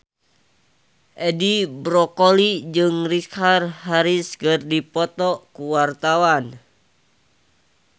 Edi Brokoli jeung Richard Harris keur dipoto ku wartawan